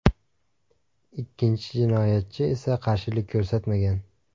Ikkinchi jinoyatchi esa qarshilik ko‘rsatmagan.